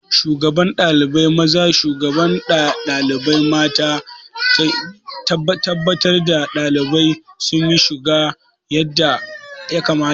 Shugaban ɗalibai maza da shugaban ɗalibai mata na tabbatar da ɗalibai sun yi shiga yadda ya kamata.